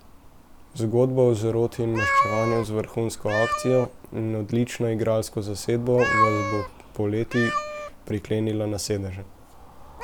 Zgodba o zaroti in maščevanju z vrhunsko akcijo in odlično igralsko zasedbo vas bo poleti priklenila na sedeže.